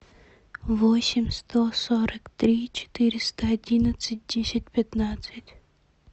восемь сто сорок три четыреста одинадцать десять пятнадцать